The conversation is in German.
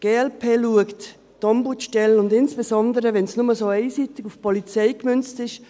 Die glp sieht die Ombudsstelle – insbesondere, wenn es nur so einseitig auf die Polizei gemünzt ist;